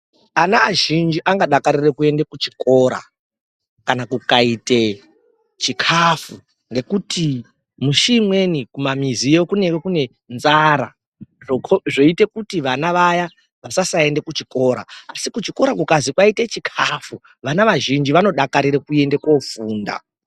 Ana azhinji angadakarira kuende kuchikora kana kukaite chikafu ngekuti mushi imweni kumamiziyo kunenge kune nzara zvoite kuti vana vaya vasasaenda kuchikora asi kuchikora kukazi kwaite chikafu vana vazhinji vanodakarira kuende kufunda.